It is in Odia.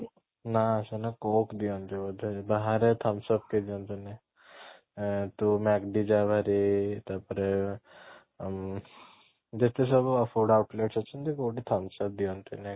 ନା ସେମାନେ coke ଦିଅନ୍ତି ବୋଧେ ବାହାରେ thumbs up କେହି ଦିଅନ୍ତିନି ଏଁ ତୁ ତାପରେ ଉଁ ଯେତେ ସବୁ ଅଛନ୍ତି କୋଉଠି thumbs up ଦିଅନ୍ତିନି